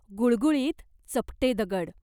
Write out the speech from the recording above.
गुळगुळीत चपटे दगड.